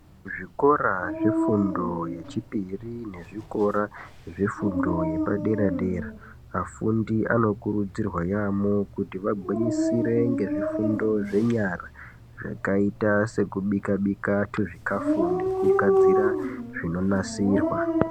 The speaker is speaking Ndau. Zvikora zvefundo yechipiri nezvikora zvefundo yepadera dera vafundi anokurudzirwa yaamho kuti vagwinyisire ngezvifundo zvenyara zvakaita sekubika bika tuzvikafu ngekugadzira zvinonasirwa .